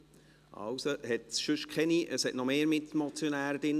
Gut, also gibt es sonst keine Mitmotionäre mehr.